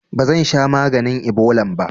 Bazansha maganin ibolan ba